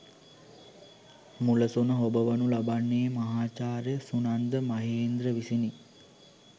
මුලසුන හොබවනු ලබන්නේ මහාචාර්ය සුනන්ද මහේන්ද්‍ර විසිනි.